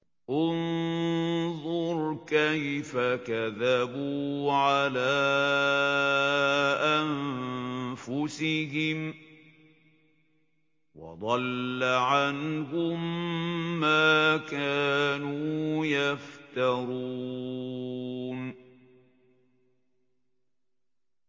انظُرْ كَيْفَ كَذَبُوا عَلَىٰ أَنفُسِهِمْ ۚ وَضَلَّ عَنْهُم مَّا كَانُوا يَفْتَرُونَ